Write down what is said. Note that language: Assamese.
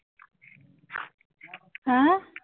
আহ